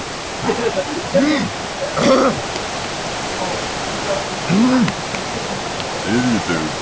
þriðjudögum